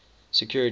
security